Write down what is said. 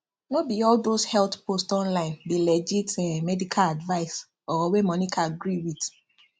no be all those health post online be legit um medical advice or wey monica gree with